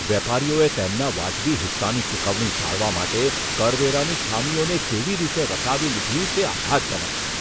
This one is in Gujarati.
વેપારીઓએ તેમના વાજબી હિસ્સાની ચૂકવણી ટાળવા માટે કરવેરાની ખામીઓને કેવી રીતે વટાવી લીધી, તે આઘાતજનક છે.